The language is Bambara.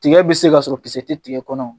Tiga bɛ se ka sɔrɔ kisɛ tɛ tigɛ kɔnɔ wo!